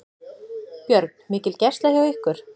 Björn: Mikil gæsla hjá ykkur?